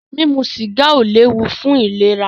Mímu sìgá ó léwu fún ìlera.